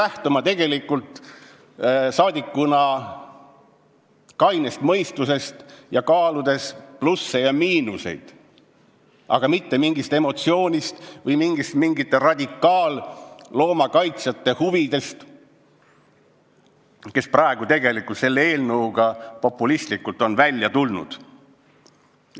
Me peame tegelikult saadikutena lähtuma kainest mõistusest, kaaludes plusse ja miinuseid, aga mitte emotsioonist või radikaalsete loomakaitsjate huvidest, kes praegu on tegelikult selle eelnõuga populistlikult välja tulnud.